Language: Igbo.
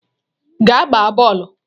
Gaa gbaa bọọlụ!